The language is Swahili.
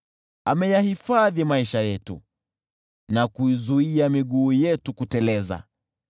ameyahifadhi maisha yetu na kuizuia miguu yetu kuteleza.